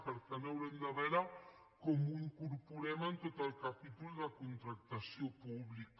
per tant haurem de veure com ho incorporem en tot el capítol de contractació pública